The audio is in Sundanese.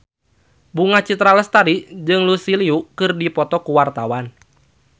Bunga Citra Lestari jeung Lucy Liu keur dipoto ku wartawan